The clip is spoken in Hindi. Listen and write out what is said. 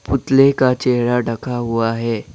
पुतले का चेहरा ढका हुआ है।